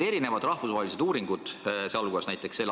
Erinevad rahvusvahelised uuringud, näiteks s.